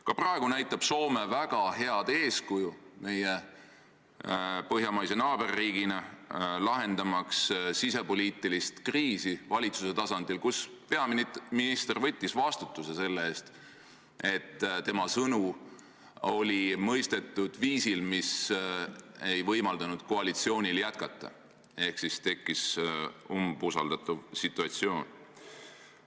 Ka praegu näitab Soome meie põhjamaise naaberriigina väga head eeskuju, lahendades sisepoliitilist kriisi valitsuse tasandil: peaminister võttis vastutuse selle eest, et tema sõnu oli mõistetud viisil, mis ei võimaldanud koalitsioonil jätkata, ehk tekkis umbusaldamise situatsioon.